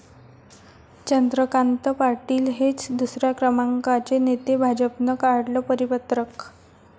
चंद्रकांत पाटील हेच दुसऱ्या क्रमांकाचे नेते, भाजपनं काढलं परिपत्रक